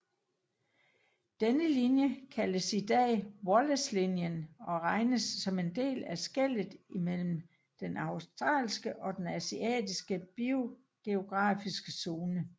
Denne linje kaldes i dag Wallacelinjen og regnes som en del af skellet imellem den australske og asiatiske biogeografiske zone